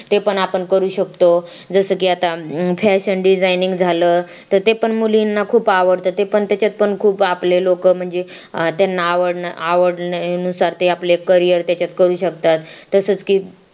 ते पण आपण करू शकतो जसं की आता fashion designing झालं तर ते पण मुलींना खूप आवडतं ते पण त्याच्यात पण खूप आपले लोक म्हणजे त्यांना नुसार ते आपले करिअर त्याच्यात करू शकतात तसेच की